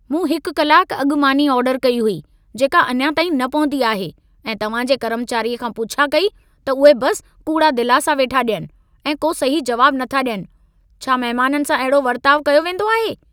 मूं हिक कलाकु अॻु मानी आर्डरु कई हुई, जेका अञा ताईं न पहुती आहे ऐं तव्हां जे कर्मचारीअ खां पुछा कई त उहे बस कूड़ा दिलासा वेठा ॾियनि ऐं को सही जवाब नथा ॾियनि। छा महमाननि सां अहिड़ो वर्ताउ कयो वेंदो आहे?